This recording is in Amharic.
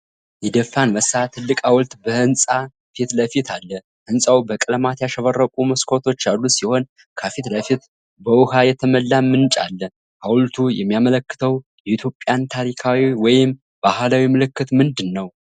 የደፋ አንበሳ ትልቅ ሐውልት በሕንፃ ፊት ለፊት አለ። ሕንፃው በቀለማት ያሸበረቁ መስኮቶች ያሉት ሲሆን ከፊት ለፊቱም በውኃ የተሞላ ምንጭ አለ። ሐውልቱ የሚያመለክተው የኢትዮጵያን ታሪካዊ ወይም ባህላዊ ምልክት ምንድን ነው?